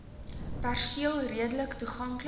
perseel redelik toeganklik